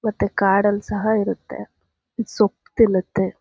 ಮತ್ತೆ ಕಾಡಲ್ಲ್ ಸಹ ಇರುತ್ತೆ ಸೊಪ್ಪು ತಿನ್ನುತ್ತೆ--